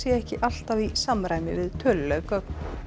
ekki alltaf í samræmi við töluleg gögn